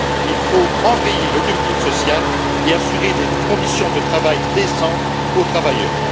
Il faut enrayer le dumping social et assurer des conditions de travail décentes aux travailleurs.